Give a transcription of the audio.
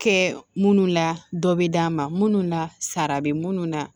Kɛ munnu la dɔ bɛ d'a ma minnu na sara bɛ minnu na